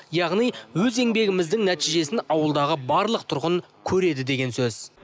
яғни өз еңбегіміздің нәтижесін ауылдағы барлық тұрғын көреді деген сөз